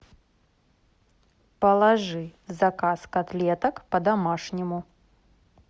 положи в заказ котлеток по домашнему